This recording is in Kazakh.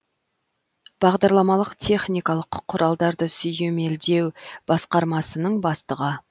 бағдарламалық техникалық құралдарды сүйемелдеу басқармасының бастығы